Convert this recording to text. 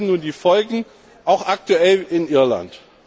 Wir erleben nun die Folgen, auch aktuell in Irland.